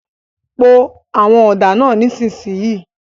Po àwọn ọ̀dà náà nísìsiyìí!